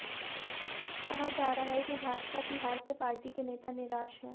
कहा जा रहा है कि भाजपा की हार से पार्टी के नेता निराश हैं